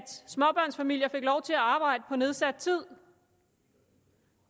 småbørnsfamilier fik lov til at arbejde på nedsat tid